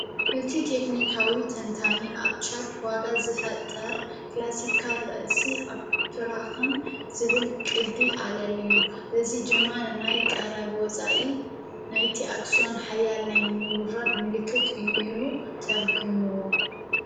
እቲ ቴክንካዊ ተንታኒ ኣብ ቻርት ዋጋ ዝፈጠር ክላሲካል ርእሲ ኣፍራክን ዝብል ቅዲ ኣለልዩ እዚ ድማ ንናይ ቀረብ ወፃኢ ናይቲ ኣክስዮን ሓያል ናይ ምውርራድ ምልክት እዩ ኢሉ ተርጉምዎ።